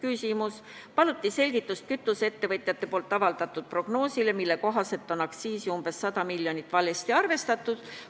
Veel paluti selgitust kütuseettevõtjate avaldatud prognoosile, mille kohaselt on aktsiisi umbes 100 miljoni võrra valesti arvestatud.